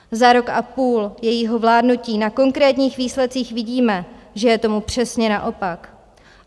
Za rok a půl jejího vládnutí na konkrétních výsledcích vidíme, že je tomu přesně naopak.